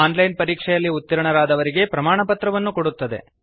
on line ಪರೀಕ್ಷೆಯಲ್ಲಿ ಉತ್ತೀರ್ಣರಾದವರಿಗೆ ಪ್ರಮಾಣಪತ್ರವನ್ನು ಕೊಡುತ್ತದೆ